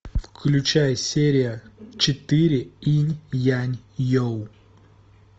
включай серия четыре инь янь йо